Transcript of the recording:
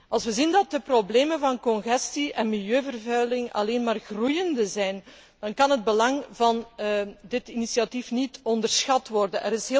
Als we zien dat de problemen van congestie en milieuvervuiling alleen maar toenemen, dan kan het belang van dit initiatief niet onderschat worden.